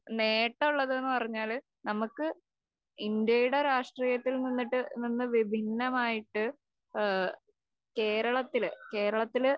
നേട്ടമുള്ളത്ന്ന് പറഞ്ഞാല് നമുക്ക് ഇന്ത്യയുടെ രാഷ്ട്രീയത്തിൽ നിന്നിട്ട് നിന്ന് വിഭിന്നമായിട്ട് ഏഹ് കേരളത്തില്, കേരളത്തില്